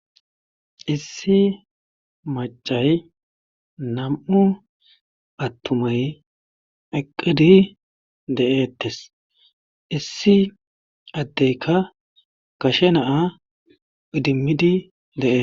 issi macay nam7u attumay eqqidi de7eettes issi addeyka kashe naa idimmidi deee